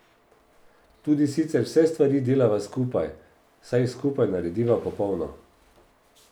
Tudi sicer vse stvari delava skupaj, saj jih skupaj narediva popolno.